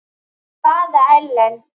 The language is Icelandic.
Hvaða Ellen?